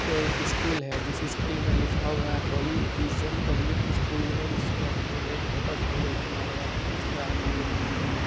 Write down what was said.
तो एक स्कूल है जिस स्कूल मे लिखा हुआ है होली विज़न पब्लिक स्कूल और उसके आगे एक मोटर साइकिल ढका हुआ है और उसके आगे दो घट्टी है ।।